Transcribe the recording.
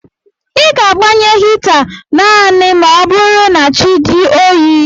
Ị ga-agbanye hita naanị ma ọ bụrụ na chi dị oyi